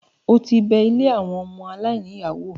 o ti bẹ “ilé àwọn ọmọ aláìní ìyá ” wò?